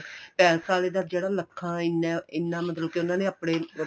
palace ਆਲੇ ਦਾ ਜਿਹੜਾ ਲੱਖਾ ਐਨਾ ਏ ਐਨਾ ਮਤਲਬ ਕੇ ਉਹਨਾ ਨੇ ਆਪਣੇ